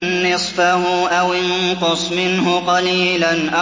نِّصْفَهُ أَوِ انقُصْ مِنْهُ قَلِيلًا